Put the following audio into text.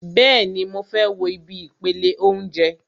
Bẹ́ẹ̀ni, mo fẹ́ wo ibi ìpele óúnjẹ